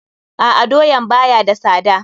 A'a, doyaan ba ya da sada.